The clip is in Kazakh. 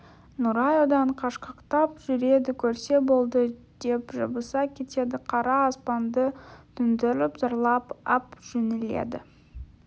нұрай одан қашқақтап жүреді көрсе болды деп жабыса кетеді қара аспанды төндіріп зарлап ап жөнеледі